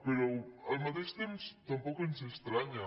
però al mateix temps tampoc ens estranya